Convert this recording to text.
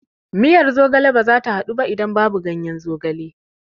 Miyar zogale bazata haɗu ba idan babu ganyen zogalen